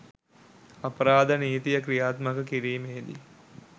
අපරාධ නීතිය ක්‍රියාත්මක කිරීමේදී